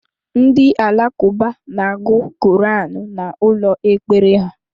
Ndị Alakuba n'agu koranu n'ụlọ ekpere ha